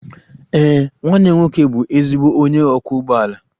Ee, nwanne m nwoke bụ ezigbo onye ọkwọ ụgbọala.